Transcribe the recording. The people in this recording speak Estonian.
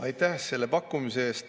Aitäh selle pakkumise eest!